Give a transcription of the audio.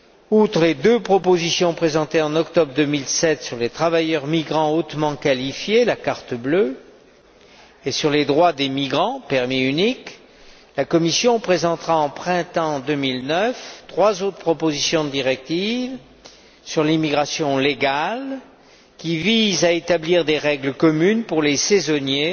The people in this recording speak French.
Outre les deux propositions présentées en octobre 2007 sur les travailleurs migrants hautement qualifiés et sur les droits des migrants la Commission présentera au printemps 2009 trois autres propositions de directive sur l'immigration légale, qui visent à établir des règles communes pour les saisonniers,